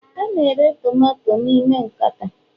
a na-ere tomato n'ime nkata